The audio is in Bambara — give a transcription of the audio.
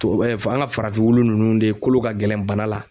Tuwa f an ŋa farafin wulu nunnu de kolo ka gɛlɛn bana la